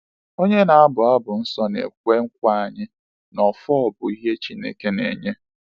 Onye na-abu abụ nsọ na-ekwe nkwa anyị na “ọfọ bụ ihe Chineke na-enye.”